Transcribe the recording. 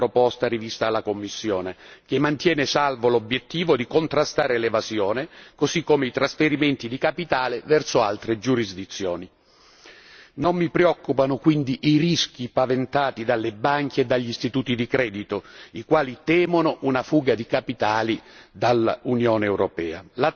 Condivido quindi pienamente la proposta rivista alla commissione, che mantiene saldo l'obiettivo di contrastare l'evasione così come i trasferimenti di capitale verso altre giurisdizioni. Non mi preoccupano quindi i rischi paventati dalle banche e dagli istituti di credito i quali temono una fuga di capitali